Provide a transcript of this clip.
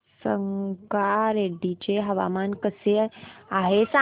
संगारेड्डी चे हवामान कसे आहे सांगा